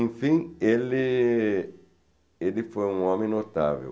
No fim, ele... ele foi um homem notável.